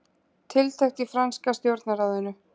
Tiltekt í franska stjórnarráðinu